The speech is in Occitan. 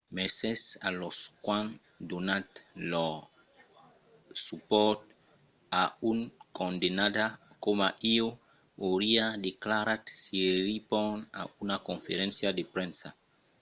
"mercés a los qu'an donat lor supòrt a un condemnada coma ieu, auriá declarat siriporn a una conferéncia de premsa